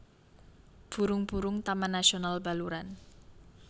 Burung burung Taman Nasional Baluran